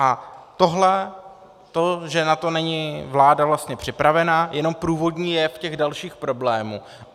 A tohle, to že na to není vláda vlastně připravena, je jenom průvodní jev těch dalších problémů.